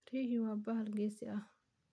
Riyuhu waa bahal geesi ah.